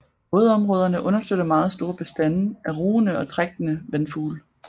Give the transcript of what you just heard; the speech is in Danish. Vådområderne understøtter meget store bestande af rugende og trækkende vandfugle